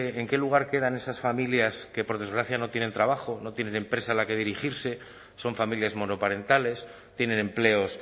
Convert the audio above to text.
en qué lugar quedan esas familias que por desgracia no tienen trabajo no tienen empresa a la que dirigirse son familias monoparentales tienen empleos